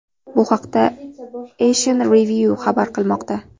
Bu haqda Asian Review xabar qilmoqda .